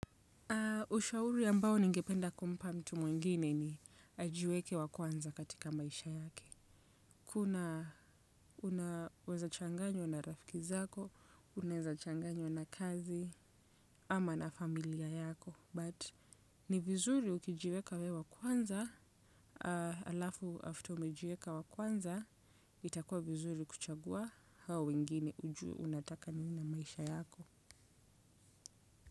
Ushauri ambao ningependa kumpa mtu mwingine ni ajiweke wa kwanza katika maisha yake. Kuna unaweza changanywa na rafiki zako, unaeza changanywa na kazi ama na familia yako. But ni vizuri ukijiweka wewe wa kwanza, alafu after ume jieka wa kwanza, itakua vizuri kuchagua hao wengine ujui unataka nini maisha yako.